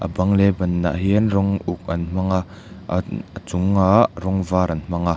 a bang leh a banah hian rawng uk an hmang a a chungah rawng var an hmang a.